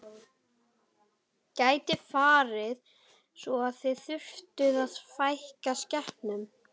Gæti farið svo að þið þyrftuð að fækka skepnum?